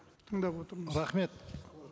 тыңдап отырмыз рахмет